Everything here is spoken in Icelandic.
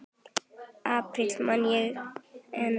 apríl man ég enn.